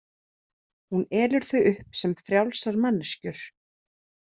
Hún elur þau upp sem frjálsar manneskjur.